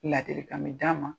Ladilikan bɛ d'a ma